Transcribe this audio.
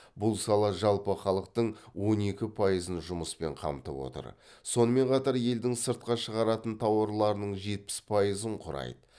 бұл сала жалпы халықтың он екі пайызын жұмыспен қамтып отыр сонымен қатар елдің сыртқа шығаратын тауарларының жетпіс пайызын құрайды